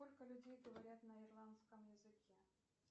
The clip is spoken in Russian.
сколько людей говорят на ирландском языке